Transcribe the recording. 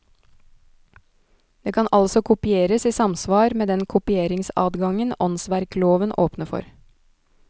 Det kan altså kopieres i samsvar med den kopieringsadgangen åndsverkloven åpner for.